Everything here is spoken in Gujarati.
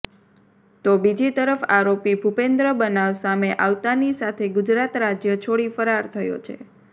તો બીજી તરફ આરોપી ભૂપેન્દ્ર બનાવ સામે આવતાની સાથે ગુજરાત રાજ્ય છોડી ફરાર થયો છે